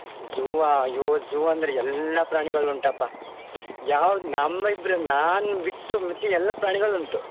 Zoo ಆ ಅಯ್ಯೋ zoo ಅಂದ್ರೆ ಎಲ್ಲ ಪ್ರಾಣಿಗಳು ಉಂಟಪ್ಪಾ ಯಾವ್ದ್ ನಮ್ ಇದ್ರಲ್ಲಿ ನಾನ್ ಬಿಟ್ಟು ಮತ್ತೆ ಎಲ್ಲ ಪ್ರಾಣಿಗಳು ಉಂಟು.